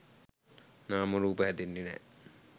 නාමරූප හැදෙන්නේ නෑ.